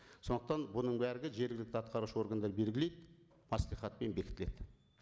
сондықтан бұның бәрі де жергілікті атқарушы органдар белгілейді мәслихатпен бекітіледі